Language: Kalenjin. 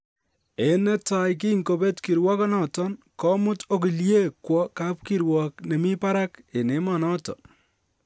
En ne tai kin kobet kiruogonoton, komut ogiliekyik kwo kap kuruok ne mi barak en emonoton